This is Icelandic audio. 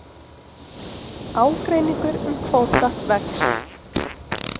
Ágreiningur um kvóta vex